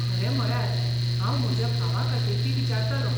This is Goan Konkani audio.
खरें म्हळ्यार हांव म्हज्या भावा खातीर ती विचारतालों.